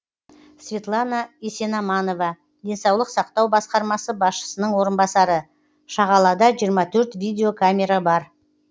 светлана есенаманова денсаулық сақтау басқармасы басшысының орынбасары шағалада жиырма төрт видеокамера бар